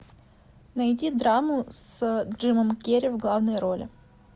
найди драму с джимом керри в главной роли